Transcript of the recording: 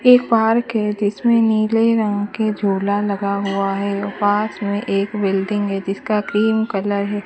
एक पार्क है जिसमें नीले रंग के झोला लगा हुआ है और पास में एक बिल्डिंग है जिसका क्रीम कलर --